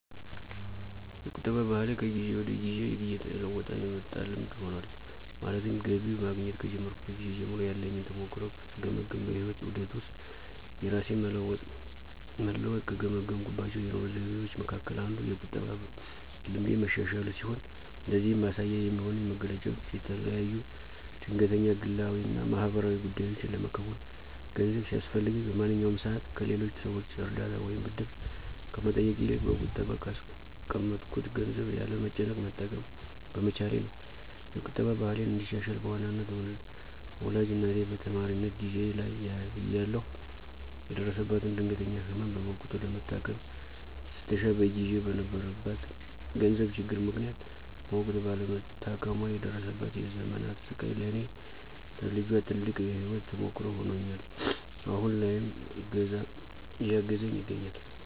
የቁጠባ ባህሌ ከጊዜ ወደ ጊዜ እየተለወጠ የመጣ ልምድ ሆኗል። ማለትም ገቢ ማግኘት ከጀመርኩበት ጊዜ ጀምሮ ያለኝን ተሞክሮ ስገመግም በህይወት ዑደት ውስጥ የራሴን መለወጥ ከገመገምኩባቸው የኑሮ ዘይቤዎቸ መካከል አንዱ የቁጠባ ልምዴ መሻሻሉ ሲሆን ለዚህም ማሳያ የሚሆኑኝ መገለጫዎች የተለያዩ ድንገተኛ ግላዊ እና ማህበራዊ ጉዳዮችን ለመከወን ገንዘብ ሲያስፈልገኝ በማንኛውም ሰዓት ከሌሎች ሰዎች እርዳታ ወይም ብድር ከመጠየቅ ይልቅ በቁጠባ ካስቀመጥኩት ገንዘብ ያለ መጨነቅ መጠቀም በመቻሌ ነው። የቁጠባ ባህሌን እንዳሻሽል በዋናነት ወላጅ እናቴ በተማሪነት ጊዜየ ላይ እያለሁ የደረሰባትን ድንገተኛ ህመም በወቅቱ ለመታከም ስትሻ በጊዜው በነበረባት የገንዘብ ችግር ምክንያት በወቅቱ ባለመታከሟ የደረሰባት የዘመናት ስቃይ ለኔ ለልጇ ትልቅ የህይወት ተሞክሮ ሆኖኝ አሁን ላይም እያገዘኝ ይገኛል።